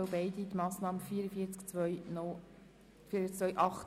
Wer die Planungserklärung 1 annehmen will, stimmt Ja,